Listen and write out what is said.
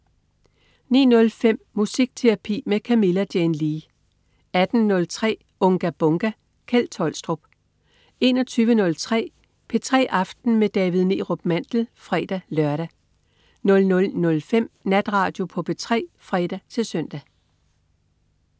09.05 Musikterapi med Camilla Jane Lea 18.03 Unga Bunga! Kjeld Tolstrup 21.03 P3 aften med David Neerup Mandel (fre-lør) 00.05 Natradio på P3 (fre-søn)